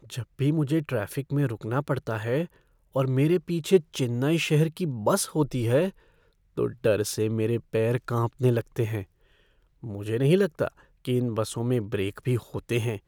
जब भी मुझे ट्रैफ़िक में रुकना पड़ता है और मेरे पीछे चेन्नई शहर की बस होती है तो डर से मेरे पैर काँपने लगते हैं। मुझे नहीं लगता कि इन बसों में ब्रेक भी होते हैं।